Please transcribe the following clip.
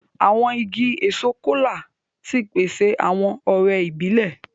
Àwọn ìgi èso Kola tí pèsè awọn ọrẹ ibilẹ.